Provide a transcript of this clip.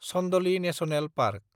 Chandoli national park